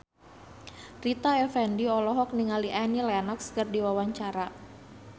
Rita Effendy olohok ningali Annie Lenox keur diwawancara